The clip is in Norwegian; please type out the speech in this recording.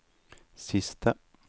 siste